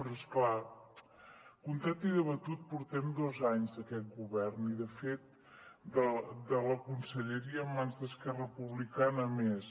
però és clar comptat i debatut portem dos anys d’aquest govern i de fet de la conselleria en mans d’esquerra republicana més